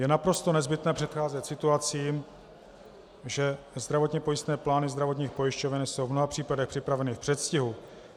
Je naprosto nezbytné předcházet situacím, že zdravotně pojistné plány zdravotních pojišťoven jsou v mnoha případech připraveny v předstihu.